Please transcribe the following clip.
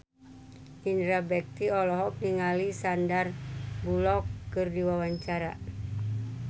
Indra Bekti olohok ningali Sandar Bullock keur diwawancara